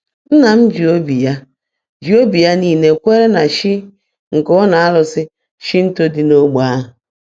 Nna m ji obi ya ji obi ya niile kwere na chi nke ụlọ arụsị Shinto dị n'ogbe ahụ.